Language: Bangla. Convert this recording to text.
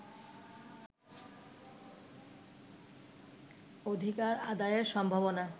অধিকার আদায়ের সম্ভাবনা